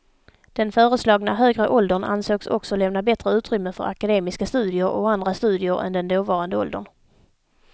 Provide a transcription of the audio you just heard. Den föreslagna högre åldern ansågs också lämna bättre utrymme för akademiska studier och andra studier än den dåvarande åldern.